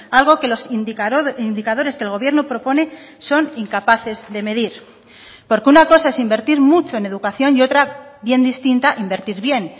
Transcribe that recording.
algo que los indicadores que el gobierno propone son incapaces de medir porque una cosa es invertir mucho en educación y otra bien distinta invertir bien